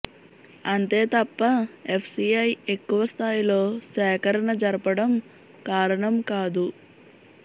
అంతే తప్ప ఎఫ్సిఐ ఎక్కువ స్థాయిలో సేకరణ జరపడం కారణం కాదు